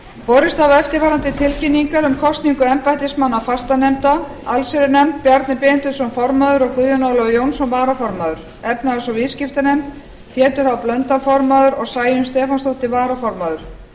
borist hafa eftirfarandi tilkynningar um kosningu embættismanna fastanefnda allsherjarnefnd bjarni benediktsson formaður og guðjón ólafur jónsson varaformaður efnahags og viðskiptanefnd pétur h blöndal formaður og sæunn stefánsdóttir varaformaður